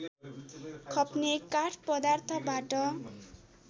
खप्ने काठ पदार्थबाट